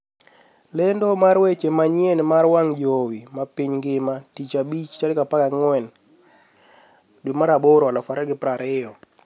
Lendo mar weche manyien mar wang jowi mar piny mangima tich abich 14/08/2020